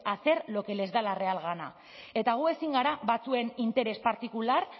hacer lo que les da la real gana eta gu ezin gara batzuen interes partikular